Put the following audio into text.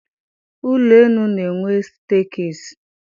Ụlọenu na-enwe steekesi.